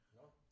Nå